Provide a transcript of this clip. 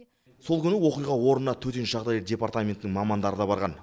сол күні оқиға орнына төтенше жағдай департаментінің мамандары да барған